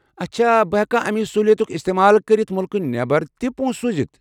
اچھا بہٕ ہٮ۪کا امہِ سہولِیتُک استعمال كٔرِتھ مُلکہٕ نٮ۪بر تہِ پۄنٛسہٕ سوٗزِتھ؟